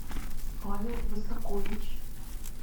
павел высокович